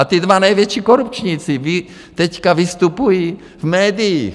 A ti dva největší korupčníci teď vystupují v médiích.